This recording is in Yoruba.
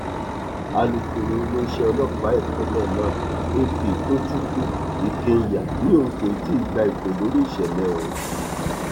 alūkọrọ iléeṣẹ ọlọpàá ìpínlẹ náà ap tochukwu i kenya ni òun kò ti gba ìpè lórí ìṣẹlẹ ọhún